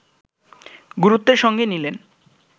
গুরুত্বের সঙ্গে নিলেন